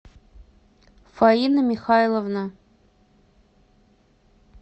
фаина михайловна